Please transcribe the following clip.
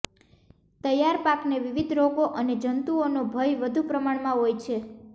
તૈયાર પાકને વિવિધ રોગો અને જંતુઓનો ભય વધુ પ્રમાણમાં હોય છે